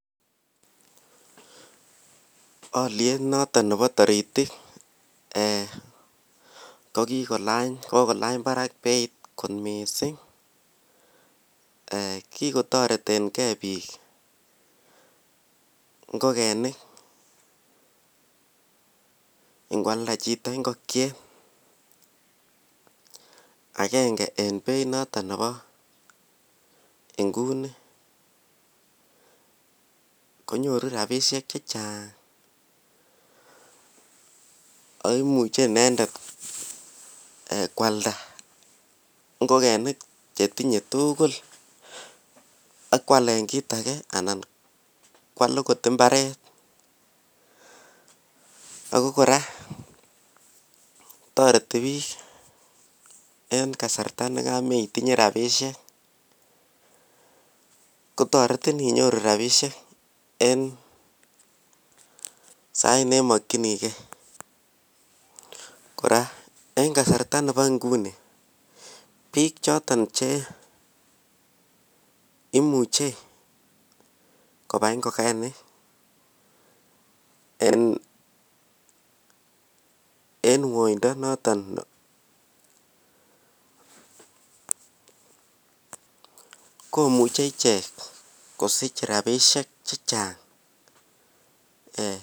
Alyet noton nebo taritik kogokolany barak beit kot mising ki kotoreten ge bik ngokenik ingo alda chito ingokyet agenge en beit noton nebo inguni konyoru rabisiek Che Chang ako imuche inendet koalda ngokenik Che tinye tugul ak koalen kit age anan koal okot mbaret ako kora toreti bik en kasarta ne kama itinye rabisiek kotoretin rabisiek en sait ne mokyinigei kora en kasarta nebo nguni bik choton Che imuche kobai ngokenik en woindo noton ko muche ichek kosich rabisiek Che Chang